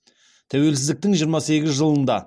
тәуелсіздіктің жиырма сегіз жылында